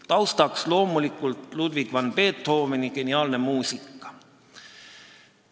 Taustaks loomulikult Ludwig van Beethoveni geniaalne muusika.